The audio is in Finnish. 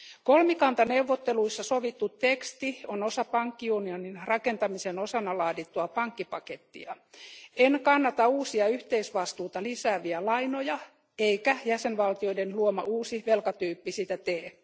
Kolmikantaneuvotteluissa sovittu teksti on osa pankkiunionin rakentamisen osana laadittua pankkipakettia. En kannata uusia yhteisvastuuta lisääviä lainoja, eikä jäsenvaltioiden luoma uusi velkatyyppi sitä tee.